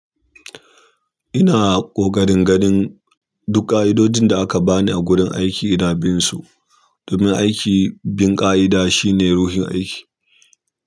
Ina ƙo karin ganin duk ƙa'idojin da aka bani a wurin aiki inabinsu, domin aikin bin ƙa'ida shine ruhin aiki.